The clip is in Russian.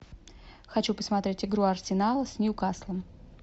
хочу посмотреть игру арсенала с ньюкаслом